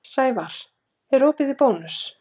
Sævarr, er opið í Bónus?